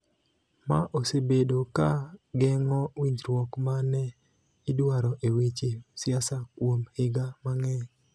ma osebedo ka geng�o winjruok ma ne idwaro e weche siasa kuom higa mang'eny.